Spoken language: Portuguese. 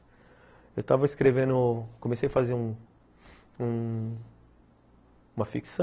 Eu estava escrevendo, comecei a fazer um um uma ficção,